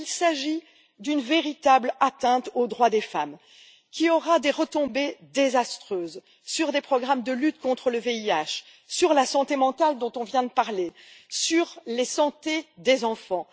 Il s'agit d'une véritable atteinte aux droits des femmes, qui aura des retombées désastreuses sur des programmes de lutte contre le VIH, sur la santé mentale dont on vient de parler, sur la santé des enfants.